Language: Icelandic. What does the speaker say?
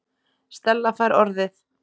Stella fær orðið.